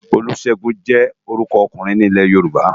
Olusegun jè órùkò òkúrin ni Ilè-Yoruba